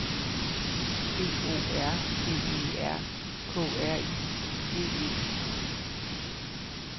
B O R G E R K R I G E